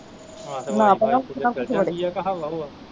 ਨਾ ਪਰਾਵਾਂ ਏਹਦੇ ਚ ਨਾ ਕੁਛ ਵੜੇ